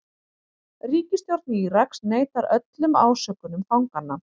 Ríkisstjórn Íraks neitar öllum ásökunum fanganna